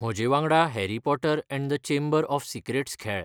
म्हजेवांगडा Harry Potter and the chamber of secrets खेळ